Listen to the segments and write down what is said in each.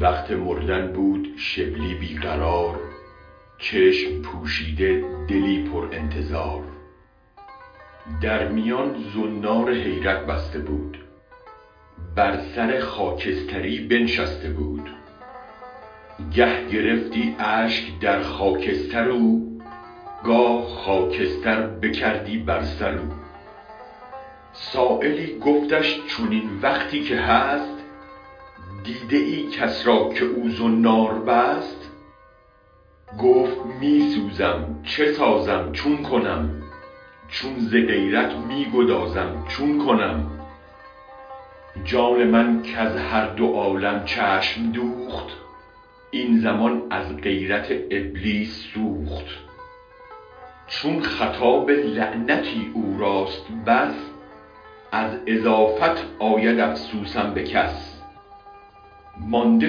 وقت مردن بود شبلی بی قرار چشم پوشیده دلی پر انتظار در میان زنار حیرت بسته بود بر سر خاکستری بنشسته بود گه گرفتی اشک در خاکستر او گاه خاکستر بکردی بر سر او سایلی گفتش چنین وقتی که هست دیده ای کس را که او زنار بست گفت می سوزم چه سازم چون کنم چون ز غیرت می گدازم چون کنم جان من کز هر دو عالم چشم دوخت این زمان از غیرت ابلیس سوخت چون خطاب لعنتی او راست بس از اضافت آید افسوسم به کس مانده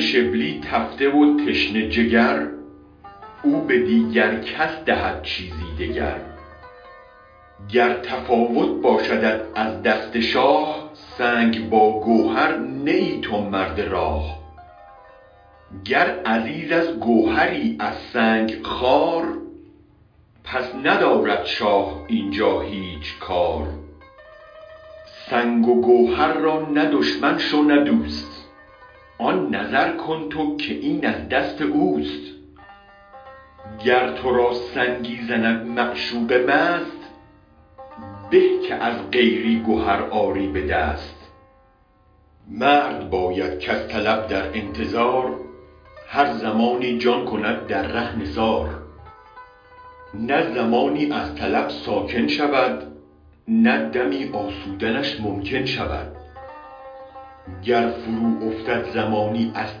شبلی تفته و تشنه جگر او به دیگر کس دهد چیزی دگر گر تفاوت باشدت از دست شاه سنگ با گوهر نه ای تو مرد راه گر عزیز از گوهری از سنگ خوار پس ندارد شاه اینجا هیچ کار سنگ و گوهر را نه دشمن شو نه دوست آن نظر کن تو که این از دست اوست گر ترا سنگی زند معشوق مست به که از غیری گهر آری به دست مرد باید کز طلب در انتظار هر زمانی جان کند در ره نثار نه زمانی از طلب ساکن شود نه دمی آسودنش ممکن شود گر فرو افتد زمانی از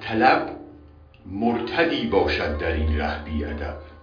طلب مرتدی باشد درین ره بی ادب